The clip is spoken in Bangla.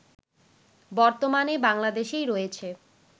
বর্তমানে বাংলাদেশেই রয়েছে